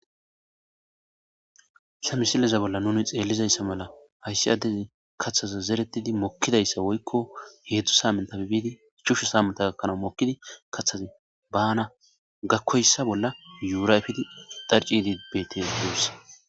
Samisilleza bolla nuni xeellizayssa mala hayssi addezi kathaza zeretidi mokkidayssa woykko heedzdzu saaminttafe biidi ichashu saamintta gakkanaw mokkidi kathazi baana gakkoyssa bolla yuura efidi dharcciidi betee guussa.